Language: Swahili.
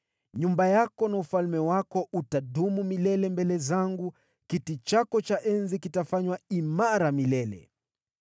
Nyumba yako na ufalme wako utadumu milele mbele zangu, kiti chako cha enzi kitafanywa imara milele.’ ”